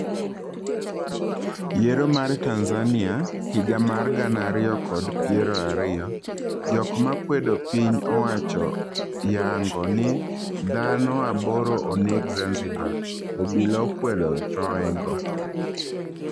Yiero mar Tanzania higa mar gana ariyo kod piero ariyo:Jog makwedo piny owachooyango ni dhano aboro oneg Zanzibar, obila okwedo thoe go.